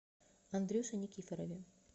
андрюше никифорове